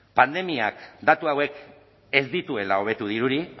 pandemiak datu hauek ez dituela hobetu dirudi